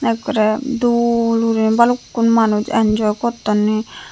ekkory dool guri balukku manuj enjoy gottonni.